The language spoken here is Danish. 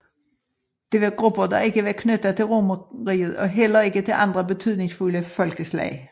Det var grupper der ikke var knyttet til Romerriget og heller ikke til andre betydningsfulde folkeslag